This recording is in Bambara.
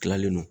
Tilalen don